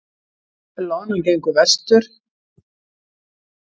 Loðnan gengur vestur